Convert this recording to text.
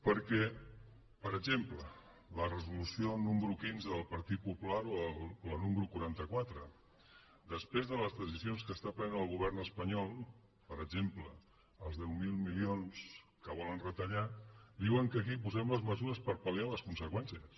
perquè per exemple la resolució número quinze del partit popular o la número quaranta quatre després de les decisions que pren el govern espanyol per exemple els deu mil milions que volen retallar diuen que aquí posem les mesures per pal·liarne les conseqüències